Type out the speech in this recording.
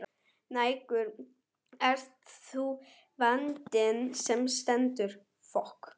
Nægur er nú vandinn sem stendur.